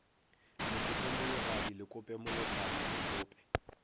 lekope mologadi lekope mologadi lekope